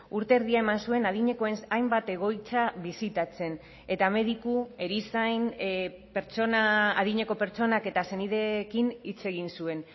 urte erdia eman zuen adinekoen hainbat egoitza bisitatzen eta mediku erizain pertsona adineko pertsonak eta senideekin hitz egin zuen